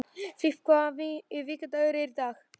Filip, hvaða vikudagur er í dag?